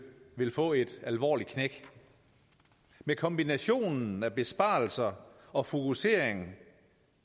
vil få et alvorligt knæk med kombinationen af besparelser og fokuseringen